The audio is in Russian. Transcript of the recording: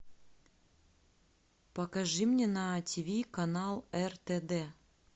покажи мне на ти ви канал ртд